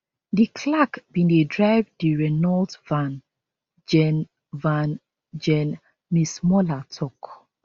di clerk bin dey drive di renault van gen van gen masemola tok